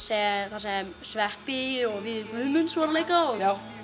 þar sem sveppi og Víðir Guðmunds voru að leika og